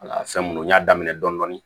Ala fɛn munnu n'a daminɛ dɔndɔni